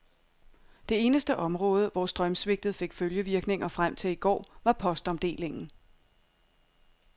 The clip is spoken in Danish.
Det eneste område, hvor strømsvigtet fik følgevirkninger frem til i går, var postomdelingen.